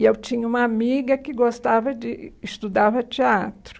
E eu tinha uma amiga que gostava de... Estudava teatro.